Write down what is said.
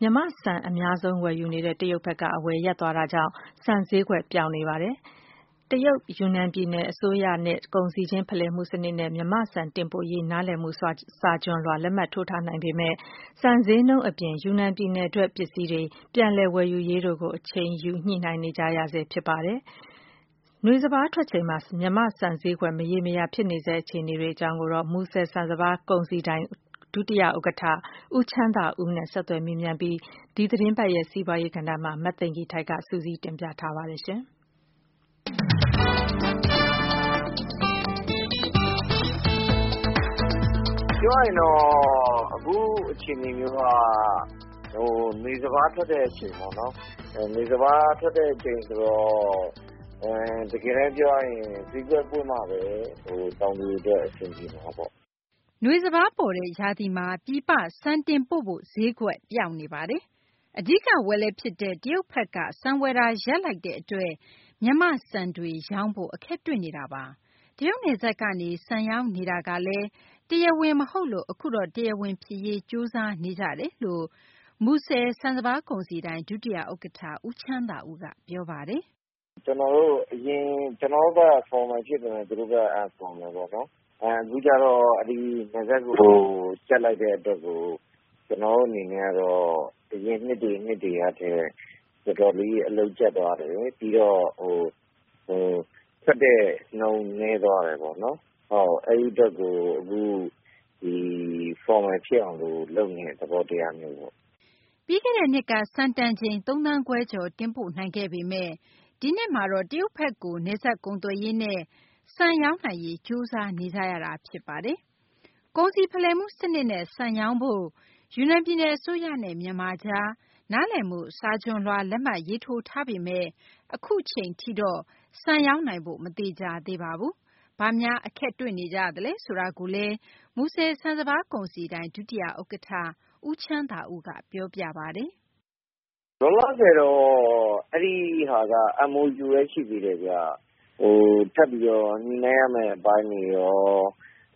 မြန်မာ့ဆန် အများဆုံး ဝယ်နေတဲ့ တရုတ်ဘက်က အဝယ်ရပ်သွားတာကြောင့် ဆန်ဈေးကွက်ပျောက်နေပါတယ်။ တရုတ် ယူနန်ပြည်နယ် အစိုးရနဲ့ ကုန်စည်ခြင်း ဖလှယ်မှု စနစ်နဲ့ မြန်မာ့ဆန် တင်ပို့နိုင်ရေး နားလည်မှုစာချွန်လွှာ လက်မှတ်ထိုးထားနိုင်ပေမယ့်လည်း ဆန်ဈေးနှုန်း၊ နောက် ယူနန် ပြည်နယ်ထွက် ပစ္စည်းတွေ ပြန်လည် ဝယ်ယူရေးနဲ့ ပတ်သက်ပြီး အချိန်ယူ ညှိနှိုင်းနေကြရဆဲ ဖြစ်ပါတယ်။ နွေစပါး ထွက်ချိန်မှာ မြန်မာ့ ဆန် ဈေးကွက် မရေရာတဲ့ အခြေအနေနဲ့ ပတ်သက်ပြီး မူဆယ် ဆန်စပါးကုန်စည်ဒိုင် ဒုတိယ ဥက္ကဌ ဦးချမ်းသာဦးနဲ့ ဆက်သွယ်မေးမြန်းပြီး ဒီသတင်းပတ် စီးပွားရေး ကဏ္ဍမှာ မသိင်္ဂ ီထိုက် စုစည်းတင်ပြထားပါတယ်။ ပြောရရင်တော့ အခုအခြေအနေမျိုးက နွေစပါးထွက်တဲ့ အခြေအနေမျိုးပေါ့နော်။ နွေစပါး ထွက်တဲ့ အချိန်ဆိုတော့ တကယ်တန်း ပြောရရင် ဈေးကွက်ပွင့်မှဘဲ တောင်သူတွေ အတွက် အဆင်ပြေမှာပေါ့။ နွေစပါး ပေါ်တဲ့ ရာသီမှာ ပြည်ပ ဆန်တင်ပို့ဖို့ ဈေးကွက်ပျောက်နေပါတယ်။ အဓိက ဝယ်လက်ဖြစ်တဲ့ တရုတ်ဘက်က ဆန်ဝယ်တာ ရပ်လိုက်တဲ့ အတွက် ရောင်းဖို့ အခက်တွေ့နေတာပါ။ တရုတ်နယ်စပ်ကနေ ဆန်ရောင်းနေတာကလည်း တရားဝင် မဟုတ်လို့ အခုတော့ တရားဝင် ဖြစ်ရေး ကြိုးစားနေကြတယ်လို့ မူဆယ် ဆန်စပါး ကုန်စည်ဒိုင် ဒုတိယ ဥက္ကဌ ဦးချမ်းသာဦးက ပြောပါတယ်။ ကျနော်တို့ဘက်က အရင် ကျနော်တို့ဘက်က Formal ဖြစ်ပေမယ့် သူတို့ဘက်က Unfromal ပေါ့နော်။ အခုကျတော့ နယ်စပ်ကို ကြပ်လိုက်တဲ့ အတွက်ကို ကျနော်တို့ အနေနဲ့ကတော့ အရင်နှစ်တွေ နှစ်တွေကထက် တော်တော်လေး အလုပ်ကြပ်သွားတယ်။ ပြီးတော့ ထွက်တဲ့နှုန်း နည်းသွားတယ်ပေါ့နော်။ အဲဒီ အတွက်ကို အခု Formal ဖြစ်အောင် လုပ်နေတဲ့ သဘောတရားမျိုးပေါ့။ ပြီးခဲ့တဲ့နှစ်က ဆန်တန်ချိန် ၃ သန်းခွဲကျော် တင်ပို့နိုင်ခဲ့ပေမယ့် ဒီနှစ်မှာတော့ တရုတ်ဘက်ကို နယ်စပ်ကုန်သွယ်ရေးနဲ့ ဆန်ရောင်းနိုင်ရေး ကြိုးစားနေကြရပါတယ်။ ကုန်စည်ဖလှယ်မှု စနစ်နဲ့ ဆန်ရောင်းနိုင်ဖို့ ယူနန် ပြည်နယ် အစိုးရနဲ့ မြန်မာ ကြား သဘောတူ လက်မှတ်ရေးထိုးထားပေမယ့် အခုအချိန်ထိတော့ ဆန်ရောင်းနိုင်ဖို့ မသေချာသေးပါဘူး။ ဘာများ အခက်တွေ့နေကြလဲ ဆိုတာကိုတော့ မူဆယ် ဆန်စပါးကုန်စည်ဒိုင် ဒုတိယ ဥက္ကဌ ဦးချမ်းသာဦးက အခုလို ပြောပါတယ်။ လောလောဆယ်တော့ အဲဒီဟာက MOU ဘဲ ရှိသေးတယ်ဗျ။ ထပ်ပြီးတော့ ညှိနှိုင်းရမယ့် အပိုင်းတွေရော